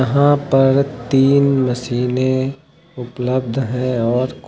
यहां पर तीन मशीनें उपलब्ध है और कुछ--